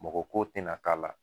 Mɔgɔ ko te na k'a la